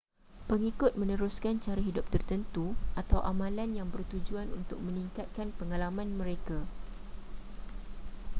pengikut meneruskan cara hidup tertentu atau amalan yang bertujuan untuk meningkatkan pengalaman mereka